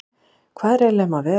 Hvað er eiginlega um að vera?